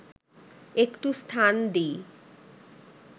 একটু স্থান দিই